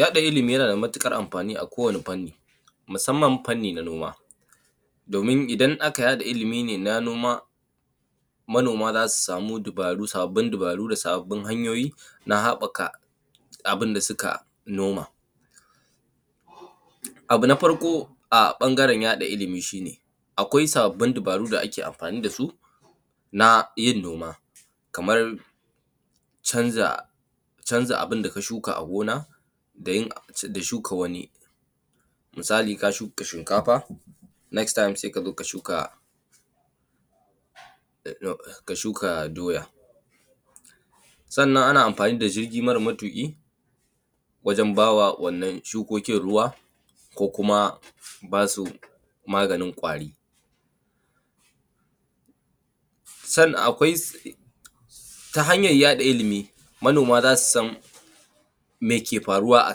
Yaɗa ilimi yanada matuƙar amfanin akowani fanni, musamman fanni na noma. Domin idan aka yaɗa ilimine na noma, manoma zasu samu dubaru sababbin dubaru da sababbun hanyoyi na haɓaka abinda suka noma. Abu na farko a bangaren yaɗa ilimi shine, akwai sababbin dubaru da ake amfani dasu, na yin noma. Kamar canza canza abinda ka suka a gona, da yik da shuka wani. Misali ka shuka shinkafa, next time se ka zo shuka ka shuka doya. Sannan ana amfani da jirgi mara matuƙi, wajen bawa wannan shukokin ruwa, ko kuma basu baganin kwari. Sannan akwai, ta hanyar yaɗa ilimi, manoma zasu san meke faruwa a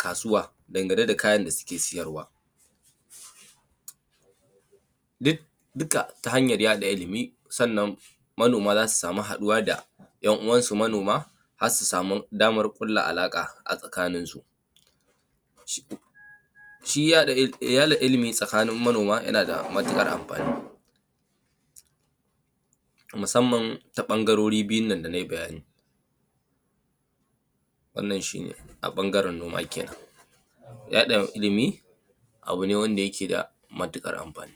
kasuwa, angane da kayan da suke siyarwa, dik duka ta hanyar yaɗa ilimi. Sannan manoma zasu samu haɗuwa da yan uwansu manoma, har su samu damar ƙulla alaka a tsakaninsu. Shi yaɗa ilimi tsakanin manoma, yanada matuƙar amfani. Musamman ta ɓangarori biyunnan da nayi bayani wannan shine a bangaren noma kenan. Yaɗa ilimi, abune wanda yake da matuƙar anfani.